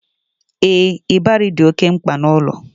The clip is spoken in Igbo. Ee, ịbarị dị oké mkpa n'ụlọ